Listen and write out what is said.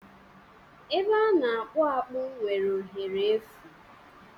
Ebe a na-akpụ akpụ nwere ohere efu